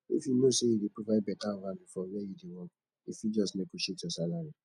if you know sey you dey provide better value for where you dey work you fit negotiate your salary